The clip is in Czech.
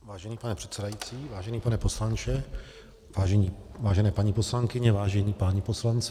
Vážený pane předsedající, vážený pane poslanče, vážené paní poslankyně, vážení páni poslanci.